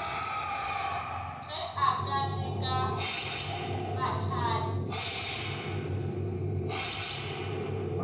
ge a ka leka mahlale